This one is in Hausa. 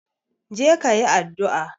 Je kayi addu'a